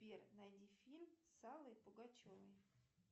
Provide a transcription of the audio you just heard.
сбер найди фильм с аллой пугачевой